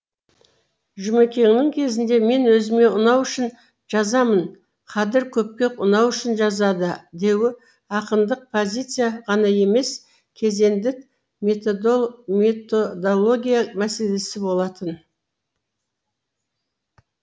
жұмекеннің кезінде мен өзіме ұнау үшін жазамын қадыр көпке ұнау үшін жазады деуі ақындық позиция ғана емес кезеңдік методология мәселе болатын